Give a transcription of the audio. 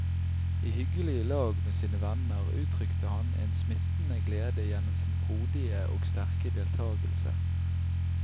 I hyggelig lag med sine venner uttrykte han en smittende glede gjennom sin frodige og sterke deltagelse.